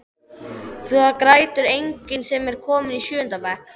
Það grætur enginn sem er kominn í sjöunda bekk.